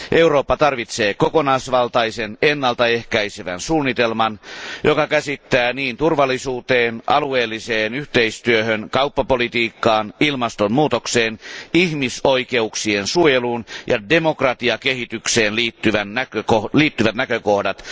Eurooppa tarvitsee kokonaisvaltaisen, ennaltaehkäisevän suunnitelman, joka käsittää turvallisuuteen, alueelliseen yhteistyöhön, kauppapolitiikkaan, ilmastonmuutokseen, ihmisoikeuksien suojeluun ja demokratiakehitykseen liittyvät näkökohdat.